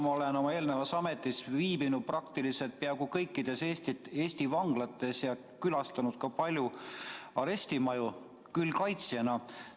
Ma olen oma eelmises ametis käinud peaaegu kõikides Eesti vanglates ja külastanud ka paljusid arestimaju, seda küll kaitsjana.